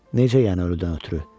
Necə yəni ölüdən ötrü?